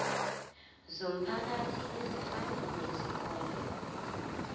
zomphakathi ezifana nezikole